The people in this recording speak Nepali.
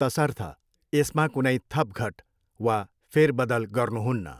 तसर्थ, यसमा कुनै थपघट वा फेरबदल गर्नुहुन्न।